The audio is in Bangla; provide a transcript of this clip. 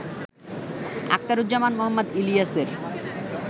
আখতারুজ্জামান মোহাম্মদ ইলিয়াসের